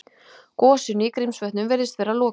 Gosinu í Grímsvötnum virðist vera lokið